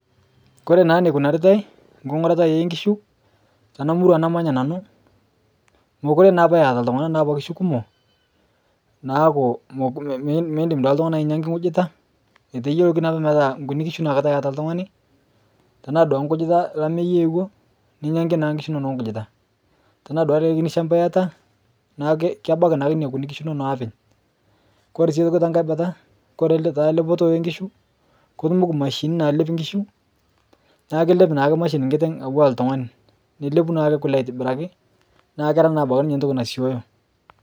kore naa neikunaritai nkung'urata eenkishu tana murua namanya nanuu mokure naapa eata ltungana naapa kishu kumok naaku miindim duake ltungani ainyangaki nkujita eteyoki naapa metaa nkuni kishu naake taa eata ltungani tanaa duake nkujita elameii eowoo ninyaanki naa nkishu inono nkujita tanaa duake likai kini shampa iata naaku kebaki naake nenia kuni kishu aapeny kore sii otoki tankai bataa kore ale taa lepoto enkishu kotumoki mashinini nalep nkishu naaku kelep naake mashini nkiteng atuwaa ltungani nelepu naake kule aitibiraki naa keraa naa abaki ninye ntoki nasioyoo